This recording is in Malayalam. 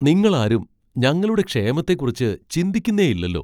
നിങ്ങളാരും ഞങ്ങളുടെ ക്ഷേമത്തെക്കുറിച്ച് ചിന്തിക്കുന്നേയില്ലല്ലോ.